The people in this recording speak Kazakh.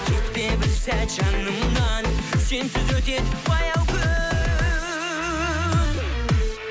кетпе бір сәт жанымнан сенсіз өтеді баяу күн